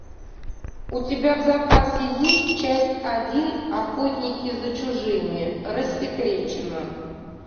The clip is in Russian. у тебя в запасе есть часть один охотники за чужими рассекречено